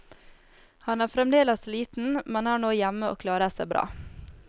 Han er fremdeles liten, men er nå hjemme og klarer seg bra.